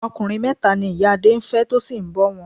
Ọkùnrin mẹ́ta ni ìyá Adé ń fẹ́ tó sì ń bọ wọn.